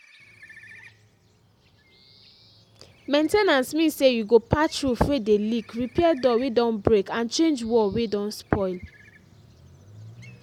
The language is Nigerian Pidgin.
main ten ance mean say you go patch roof wey dey leak repair door wey don break and change wall wey don spoil